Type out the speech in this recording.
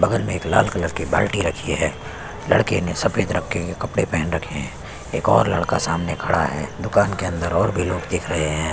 बगल में एक लाल कलर के बाल्टी रखी है लड़के ने सफ़ेद रंग के कपड़े पेहन रखे है एक और लड़का सामने खड़ा है दुकान के अंदर और भी लोग दिख रहे हैं।